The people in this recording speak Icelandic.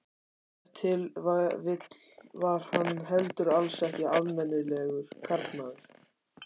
Ef til vill var hann heldur alls ekki almennilegur karlmaður.